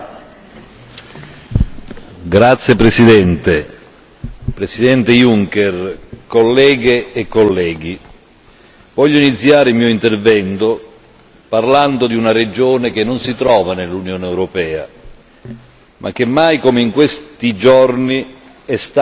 Signor Presidente, onorevoli colleghi, Presidente Juncker, voglio iniziare il mio intervento parlando di una regione che non si trova nell'Unione europea, ma che mai come in questi giorni è